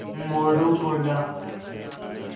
मोरू बोला